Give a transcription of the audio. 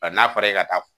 A n'a fɔra e ka taa